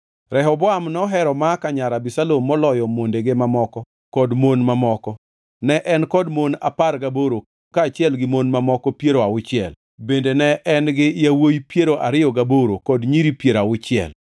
Rehoboam nohero Maaka nyar Abisalom moloyo mondege mamoko kod mon mamoko. Ne en kod mon apar gaboro kaachiel gi mon mamoko piero auchiel, bende ne en gi yawuowi piero ariyo gaboro kod nyiri piero auchiel.